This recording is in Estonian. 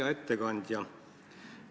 Hea ettekandja!